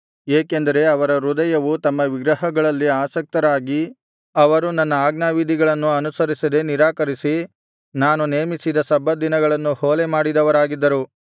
ಏಕೆಂದರೆ ಅವರ ಹೃದಯವು ತಮ್ಮ ವಿಗ್ರಹಗಳಲ್ಲಿ ಆಸಕ್ತರಾಗಿ ಅವರು ನನ್ನ ಆಜ್ಞಾವಿಧಿಗಳನ್ನು ಅನುಸರಿಸದೆ ನಿರಾಕರಿಸಿ ನಾನು ನೇಮಿಸಿದ ಸಬ್ಬತ್ ದಿನಗಳನ್ನು ಹೊಲೆ ಮಾಡಿದವರಾಗಿದ್ದರು